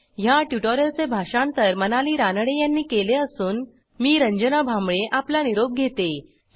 ह्या ट्युटोरियलचे भाषांतर मनाली रानडे यांनी केले असून मी रंजना भांबळे आपला निरोप घेते160